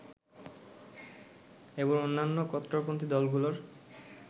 এবং অন্যান্য কট্টরপন্থী দলগুলোর